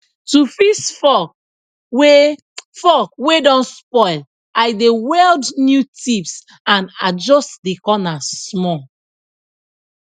to fix fork wey fork wey don spoil i dey weld new tips and adjust de corner small